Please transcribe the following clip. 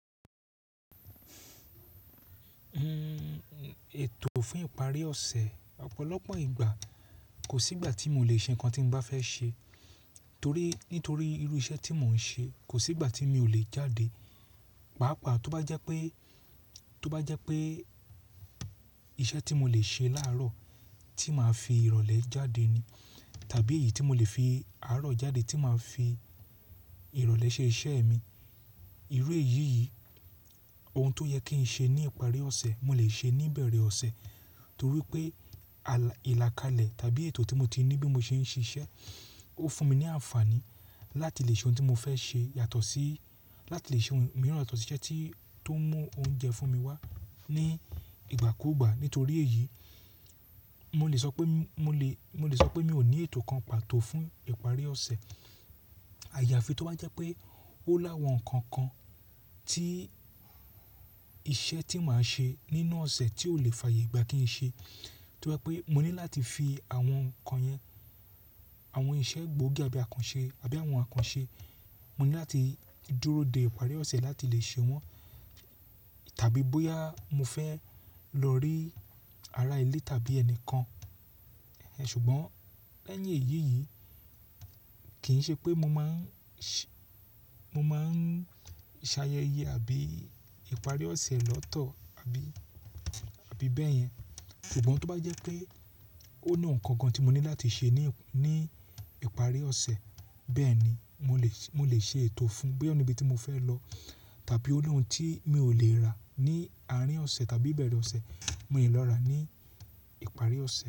Ètò fún ìparí ọ̀sẹ̀, ọ̀pọ̀lọpọ̀ ìgbà kò sí ìgbà tí mo le ṣe nǹkan tí mo bá fẹ́ ṣe torí nítorí irú iṣẹ́ tí mò ń ṣe. Kò sí ìgbà tí mi ò lè jáde. Pàápàá tó bá jẹ́ pé, tó bá jẹ́ pé iṣẹ́ tí mo lè ṣe láàárọ̀ tí màá fi ìrọ̀lẹ́ jáde ni tàbí èyí tí mo lè fi àárọ̀ jáde tí màá fi ìrọ̀lẹ́ ṣe iṣẹ́ mi. Irú èyí yìí, ohun tó yẹ kí n ṣe ní ìparí ọ̀sẹ̀, mo lè ṣe ní ìbẹ̀rẹ̀ ọ̀sẹ̀ torí pé àlá, ìlàkalẹ̀ tàbí ètò tí mo ti ní bí mo ṣe ń ṣiṣẹ́, ó fún mi ní àǹfààní láti lè ṣe ohun tí mo fẹ́ ṣe yàtọ̀ sí, láti lè ṣe ohun mìíràn yàtọ̀ sí iṣẹ́ tí tó mú oúnjẹ fún mi wá ní ìgbà kúùgbà. Nítorí èyí, mo lè sọ pé, mo lè, mo lè sọ pé mi ò ní ètò kan pàtó fún ìparí ọ̀sẹ̀. Àyàfi tó bá jẹ́ pé ó láwọn nǹkan kan tí iṣẹ́ tí màá ṣe nínú ọ̀sẹ̀ tí ò lè fààyè gbà kí n ṣe. Tó bá pé mo ní láti fi àwọn nǹkan yẹn, àwọn iṣẹ́ gbóògì àbí àkànṣe, àbí àwọn àkànṣe, mo ní láti dúró de ìparí ọ̀sẹ̀ láti lè ṣe wọ́n tàbí bóyá mo fẹ́ lọ rí ara ilé tàbí ẹnìkan. Ṣùgbọ́n lẹ́yìn èyí yìí kì í ṣe pé mo máa ń ṣẹ, mo máa ń ṣàyẹ̀yẹ àbí ìparí ọ̀sẹ̀ lọ́tọ̀ àbí, àbí bẹ́yẹn. Ṣùgbọ́n tó bá jẹ́ pé ó ní nǹkan kan tí mo ní láti ṣe ní, ní ìparí ọ̀sẹ̀, bẹ́ẹ̀ ni mò lè ṣe, mò lè ṣe ètò fún. Bóyá níbi tí mo fẹ́ lọ tàbí ó ní ohun tí mi ò lè rà ní àárín ọ̀sẹ̀ tàbí ìbẹ̀rẹ̀ ọ̀sẹ̀, mo lè lọ rà á ní ìparí ọ̀sẹ̀